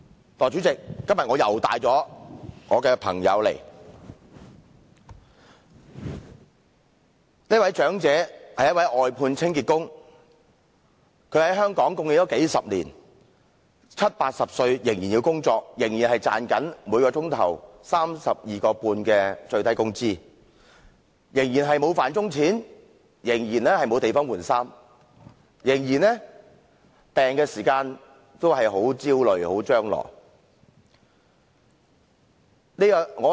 代理主席，我今天又帶我的朋友到來，這位長者是一名外判清潔工，他貢獻香港數十年，七八十歲仍要工作，賺取每小時 32.5 元的最低工資，仍沒有"飯鐘錢"，也沒有地方更換衣服，在生病時仍感非常焦慮和張羅殆盡。